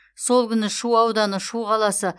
сол күні шу ауданы шу қаласы